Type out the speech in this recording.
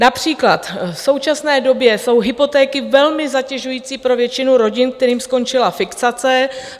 Například v současné době jsou hypotéky velmi zatěžující pro většinu rodin, kterým skončila fixace.